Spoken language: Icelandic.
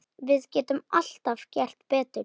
Við getum alltaf gert betur.